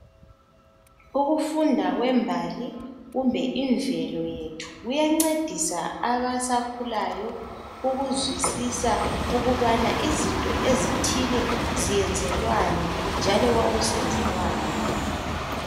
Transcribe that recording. Ukufunda kwembali kumbe imvelo yethu kuyancedisa abasakhulayo ukuzwisisa ukubana izinto ezithile ziyenzelwani njalo kwakusenzelwani.